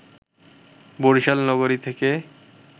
বরিশাল নগরী থেকে